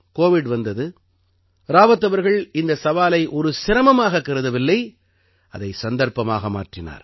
Covid வந்தது ராவத் அவர்கள் இந்தச் சவாலை ஒரு சிரமமாகக் கருதவில்லை அதைச் சந்தர்ப்பமாக மாற்றினார்